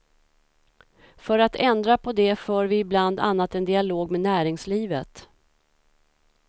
För att ändra på det för vi bland annat en dialog med näringslivet.